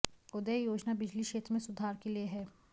उदय योजना बिजली क्षेत्र में सुधार के लिए है